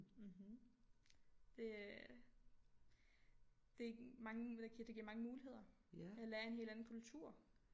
Mhm det øh det mange det giver mange muligheder jeg lærer en helt anden kultur